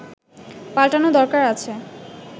পাল্টানো দরকার আছে